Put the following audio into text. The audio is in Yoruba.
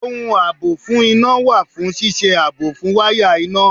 Ohun àbò fún iná wà fún ṣíṣe ààbò fún wáyà iná